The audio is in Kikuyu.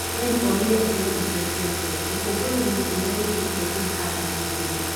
Mane oire iheo icio ciake ũkũngũĩro inĩ ũrĩa wekĩkire Hurghada Misiri